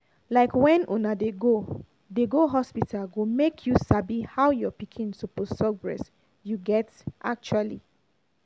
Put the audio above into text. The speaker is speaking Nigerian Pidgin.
like when una dey go dey go hospital go make you sabi how your pikin suppose suck breast you get actually